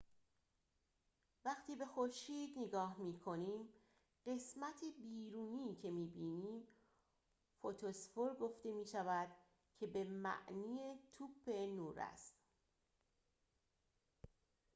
وقتی به خورشید نگاه می‌کنیم قسمت بیرونی که می‌بینیم فوتوسفر گفته می‌شود که به معنی توپ نور است